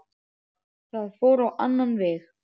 Það fór á annan veg.